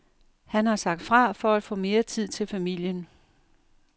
Han har sagt fra for at få mere tid til familien.